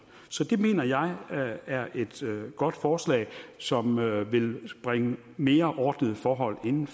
så det mener jeg er et godt forslag som vil bringe mere ordnede forhold ind